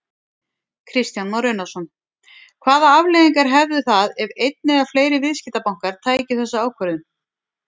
Kristján Már Unnarsson: Hvaða afleiðingar hefðu það ef einn eða fleiri viðskiptabankar tækju þessa ákvörðun?